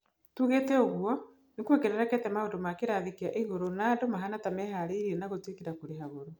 Tuugĩte ũguo, nĩ kuongererekete maũndũ ma kĩrathi kĩa igũrũ na andũ mahana ta meharĩrĩriria na gũitĩkĩra kũrĩha goro.